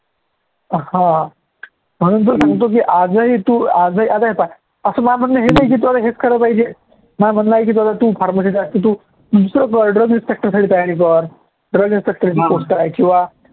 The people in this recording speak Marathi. हा म्हणून तर सांगतो की आजही तू आजही आता हे पाह्य असं नाही की तू हेच करायला पाहिजे तू pharmacy चं तू sub inspector साठी तयारी कर sub inspector ची post आहे किंवा